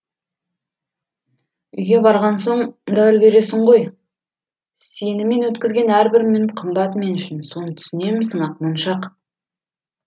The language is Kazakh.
үйге барған соң да үлгіресің ғой сенімен өткізген әрбір минут қымбат мен үшін соны түсінемісің ақмоншақ